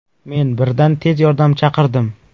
Men birdan tez yordam chaqirdim.